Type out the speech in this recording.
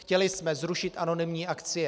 Chtěli jsme zrušit anonymní akcie.